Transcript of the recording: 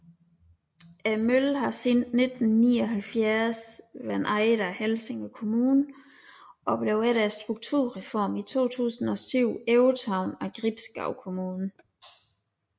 Møllen har siden 1979 været ejet af Helsinge Kommune og blev efter strukturreformen i 2007 overtaget af Gribskov Kommune